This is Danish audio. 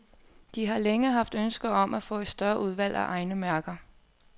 De har længe haft ønske om at få et større udvalg af egne mærker.